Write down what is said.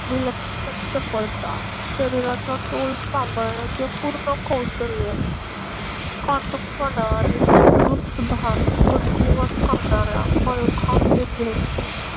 विलक्षण चपळता शरीराचा तोल सांभाळण्याचे पूर्ण कौशल्य काटकपणा आणि चतुरस्र शुबाश वृद्धिंगत करणाऱ्या मल्लखांब विद्येची